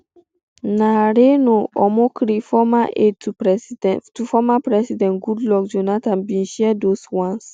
na reno omokri former aide to former president goodluck jonathan bin share those ones